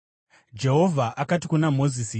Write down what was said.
Jehovha akati kuna Mozisi,